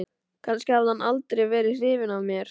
Kannski hafði hann aldrei verið hrifinn af mér.